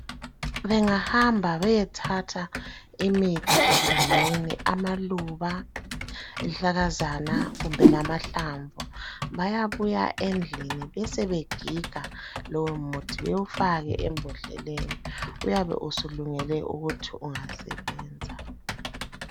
Bengahamba beyethatha imithi egangeni, amaluba, izihlahlakazana kumbe lamahlamvu bayabuya endlini besebegiga lowomuthi bewufake embodleleni. Uyabe usulungele ukuthi ungasebenza.